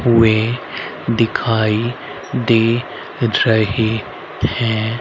वे दिखाई दे रहे हैं।